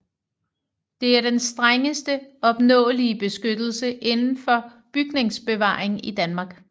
Det er den strengeste opnåelige beskyttelse inden for bygningsbevaring i Danmark